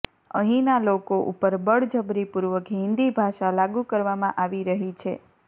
અહીંના લોકો ઉપર બળજબરીપૂર્વક હિન્દી ભાષા લાગૂ કરવામાં આવી રહી છે